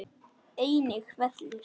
Einnig vellir.